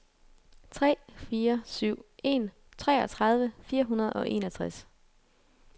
tre fire syv en treogtredive fire hundrede og enogtres